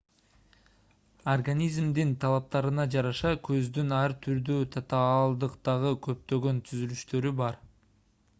организмдин талаптарына жараша көздүн ар түрдүү татаалдыктагы көптөгөн түзүлүштөрү бар